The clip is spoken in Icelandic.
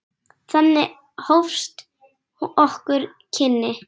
Þannig hófust okkar kynni.